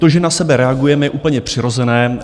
To, že na sebe reagujeme, je úplně přirozené.